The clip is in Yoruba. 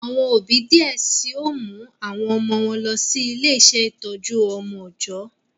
Awọn òbí diẹ síi o mu awọn ọmọ wọn lọ si ile-iṣẹ itọju ọjọ